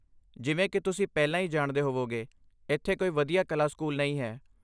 ਜਿਵੇਂ ਕਿ ਤੁਸੀਂ ਪਹਿਲਾਂ ਹੀ ਜਾਣਦੇ ਹੋਵੋਗੇ, ਇੱਥੇ ਕੋਈ ਵਧੀਆ ਕਲਾ ਸਕੂਲ ਨਹੀਂ ਹੈ।